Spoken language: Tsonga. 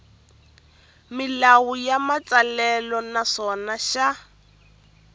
milawu ya matsalelo naswona xa